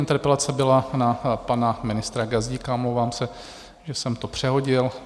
Interpelace byla na pana ministra Gazdíka, omlouvám se, že jsem to přehodil.